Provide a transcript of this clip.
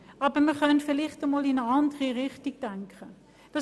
Aber man könnte vielleicht einmal in eine andere Richtung denken.